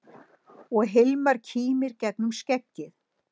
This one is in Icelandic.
Og Hilmar kímir gegnum skeggið.